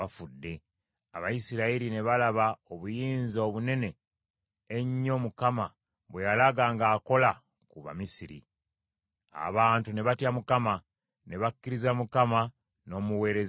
Abayisirayiri ne balaba obuyinza obunene ennyo Mukama bwe yalaga ng’akola ku Bamisiri: abantu ne batya Mukama , ne bakkiriza Mukama n’omuweereza we Musa.